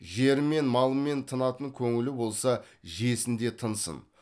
жермен малмен тынатын көңілі болса жесін де тынсын